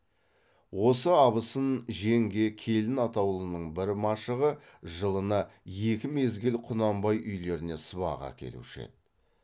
осы абысын жеңге келін атаулының бір машығы жылына екі мезгіл құнанбай үйлеріне сыбаға әкелуші еді